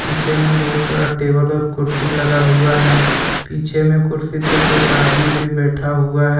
पीछे में बहुत सारा टेबल और कुर्सी लगा हुआ है पीछे में कुर्सी पर कुछ आदमी भी बैठा हुआ है।